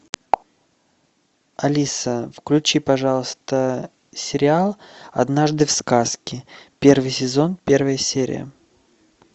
алиса включи пожалуйста сериал однажды в сказке первый сезон первая серия